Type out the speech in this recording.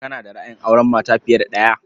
Kana da ra'ayin auren mata fiye da ɗaya?